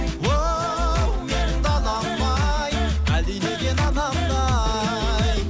оу менің далам ай әлдилеген анамдай